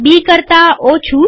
બી કરતા ઓછું